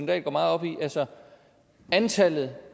dahl går meget op i antallet